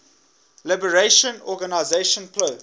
liberation organization plo